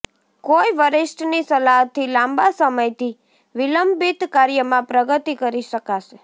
કોઈ વરિષ્ઠની સલાહથી લાંબા સમયથી વિલંબિત કાર્યમાં પ્રગતિ કરી શકાશે